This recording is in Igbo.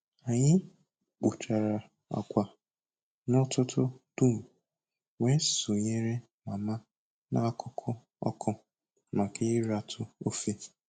Anyị kpụchara agwa n'ụtụtụ dum, wee sonyere Mama n'akụkụ ọkụ maka ịratụ ofe.